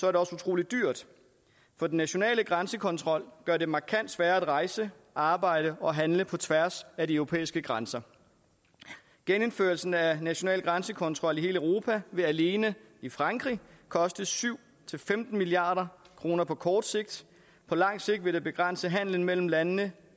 er det også utrolig dyrt for den nationale grænsekontrol gør det markant sværere at rejse arbejde og handle på tværs af de europæiske grænser genindførelse af national grænsekontrol i hele europa vil alene i frankrig koste syv femten milliard kroner på kort sigt på lang sigt vil det begrænse handelen mellem landene